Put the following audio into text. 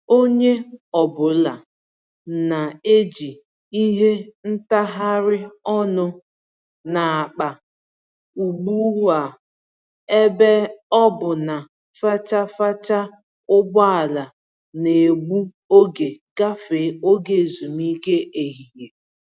Onye ọ bụla n'eji ìhè ntagharị ọnụ n'akpa ugbu a ebe ọ bụ na fachi-fachi ụgbọala N'egbu oge gafee oge ezumike ehihie